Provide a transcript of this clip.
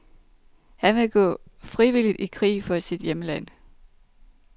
Han vil gå frivilligt i krig for sit hjemland.